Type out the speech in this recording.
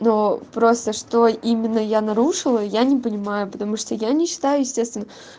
ну просто что именно я нарушила я не понимаю потому что я не считаю естественно